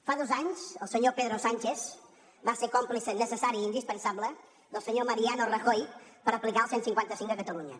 fa dos anys el senyor pedro sánchez va ser còmplice necessari i indispensable del senyor mariano rajoy per aplicar el cent i cinquanta cinc a catalunya